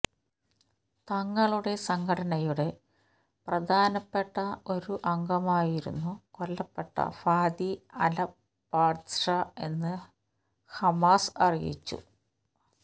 തങ്ങളുടെ സംഘടനയുടെ പ്രധാനപ്പെട്ട ഒരു അംഗമായിരുന്നു കൊല്ലപ്പെട്ട ഫാദി അല്ബാത്ഷ് എന്ന് ഹമാസ് അറിയിച്ചു